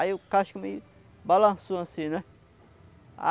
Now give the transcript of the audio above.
Aí o casco meio balançou assim, né?